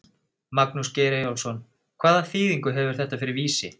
Magnús Geir Eyjólfsson: Hvaða þýðingu hefur þetta fyrir Vísi?